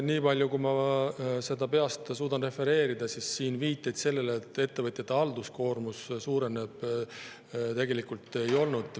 Nii palju, kui ma peast suudan refereerida, siin viiteid sellele, et ettevõtjate halduskoormus suureneb, tegelikult ei olnud.